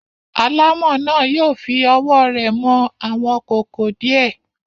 Alámọ̀ náà yóò fi ọwọ́ rẹ̀ mọ àwọn kòkò díẹ̀.